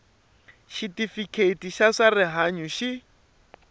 xitifiketi xa swa rihanyu xi